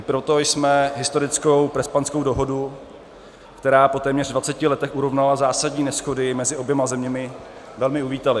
I proto jsme historickou Prespanskou dohodu, která po téměř 20 letech urovnala zásadní neshody mezi oběma zeměmi, velmi uvítali.